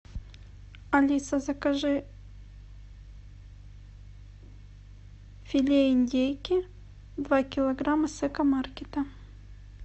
алиса закажи филе индейки два килограмма с экомаркета